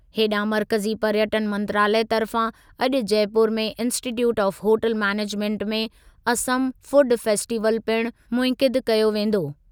हेॾांहुं मर्कज़ी पर्यटनु मंत्रालयु तर्फ़ा अॼु जयपुर में इंस्टीट्यूट ऑफ होटल मैनेजमेंट में असम फूड फेस्टिवल पिणु मुनइक़िद कयो वेंदो।